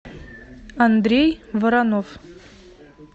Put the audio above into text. андрей воронов